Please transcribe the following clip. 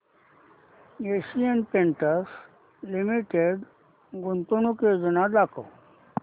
Asian Paints Limited गुंतवणूक योजना दाखव